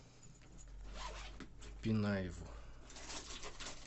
пинаеву